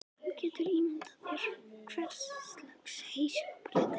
Þú getur ímyndað þér hverslags heyskapur þetta er.